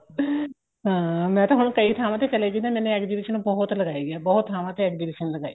ਹਾਂ ਮੈਂ ਤਾਂ ਹੁਣ ਕਈ ਥਾਵਾਂ ਤੇ ਚੱਲੇਗੀ ਦਾ ਮੈਨੇ exhibition ਬਹੁਤ ਲਗਾਈ ਏ ਬਹੁਤ ਥਾਵਾਂ ਤੇ exhibition ਲਗਾਈ ਏ